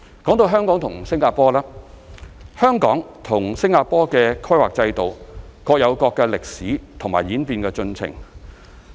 至於香港和新加坡方面，香港與新加坡的規劃制度各有各的歷史和演變進程。